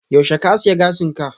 yaushe ka aske gashin ka?